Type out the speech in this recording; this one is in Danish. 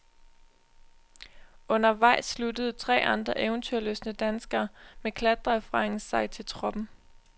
Undervejs sluttede tre andre eventyrlystne danskere med klatreerfaring sig til truppen.